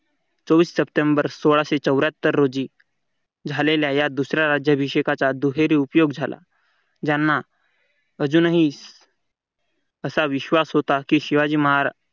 चोवीस सप्टेंबर सोळाशे चौऱ्यात्तर रोजी झालेल्या. या दुसऱ्या राज्याभिषेकाचा दुहेरी उपयोग झाला ज्यांना अजूनही असा विश्वास होता की शिवाजी महाराज